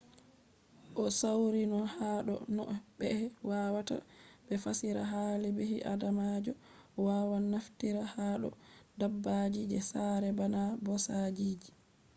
o sawri no ha do no ɓe wawata be fassira hali ɓi adamajo wawan naftira ha do dabbaji je saare bana ɓosaji